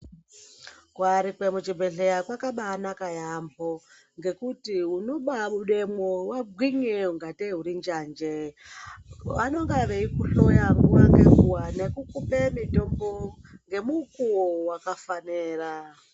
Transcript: Kuyarikwe muchibhedhleya kwakabanaka yaamho. Ngekuti unobabudemwo wagwinye kunge tee uri njanji, vanenge veikuhloya nguwa ngenguwa nekukupe mutombo ngemukuwo wakafanira.